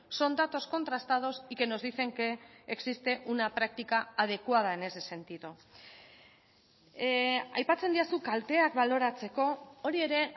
son datos contrastados y que nos dicen que existe una práctica adecuada en ese sentido aipatzen didazu kalteak baloratzeko hori ere